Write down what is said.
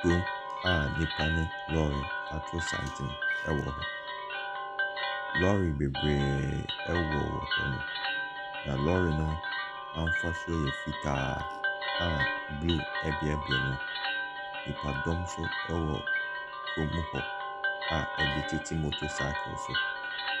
Kurom a nnipa nam mu, lɔɔre atosane wɔ hɔ. Lɔɔre bebree wɔ hɔnom. Na lɔɔre no, afasuo yɛ fitaa a blue ɛbeabea mu. Nnipadɔm nso wɔ kurom hɔ a ebi tete motor cycle so.